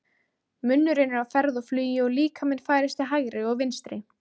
Munnurinn er á ferð og flugi og líkaminn færist til hægri og vinstri.